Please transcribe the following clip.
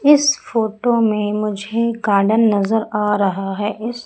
इस फोटो में मुझे गार्डन नजर आ रहा है इस--